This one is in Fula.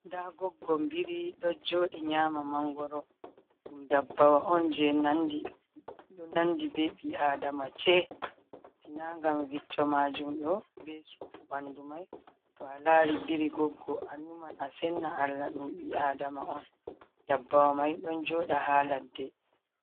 Nda goggon biri ɗo jooɗi nyaama mangoro. Ɗum ndabbawa on jei nandi... ɗo nandi be ɓi Adama ce. Sina ngam vicco maajum ɗo, be sufu ɓandu mai, to a lari biri goggo annuman a senna Allah ɗum ɓi Adama on. Ndabbawa mai ɗon jooɗa ha ladde.